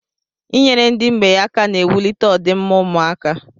I nyere ndị mgbei aka na-ewulite ọ dị mma ụmụaka.